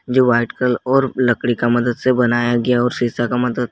जो white colour और लकड़ी का मदद से बनाया गया और शीशा का मदद--